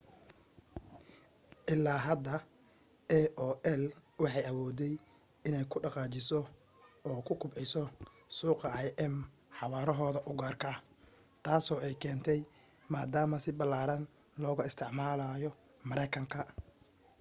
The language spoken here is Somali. ilaa hadda aol waxay awooday inay ku dhaqaajiso oo ku kubciso suuqa im xawaarahooda u gaarka ah taasoo ay keentay maadaama si ballaaran looga isticmaalo maraykanka